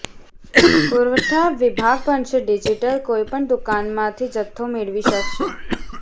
પુરવઠા વિભાગ બનશે ડિજિટલ કોઈપણ દુકાનમાંથી જથ્થો મેળવી શકાશે